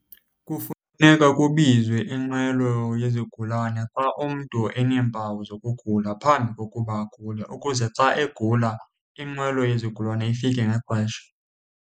Kufuneka kubizwe inqwelo yezigulane xa umntu eneempawu zokugula phambi kokuba agule, ukuze xa egula inqwelo yezigulane ifike ngexesha.